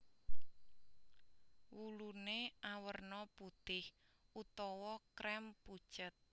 Wuluné awerna putih utawa krem pucet